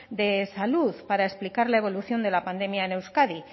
de salud para explicar la evolución de la pandemia en euskadi